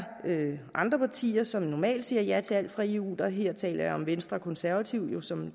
andre partier som normalt siger ja til alt fra eu her taler jeg om venstre og konservative som jo